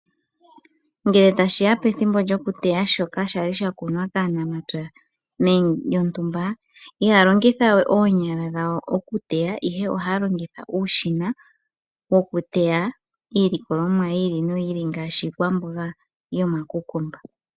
Ngele tashiya pethimbo lyokuteya shoka shali sha kunwa kaanamapya yontumba, ihaya longitha we oonyala okuteya, ihe ohaya longitha uushina wokuteya iilikolomwa yi ili noyi ili, ngaashi iikwamboga yoma kukumba.